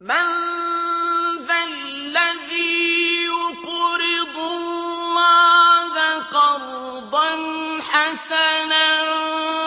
مَّن ذَا الَّذِي يُقْرِضُ اللَّهَ قَرْضًا حَسَنًا